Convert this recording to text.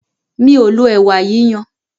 Mí o lo ẹ̀wà yíyan.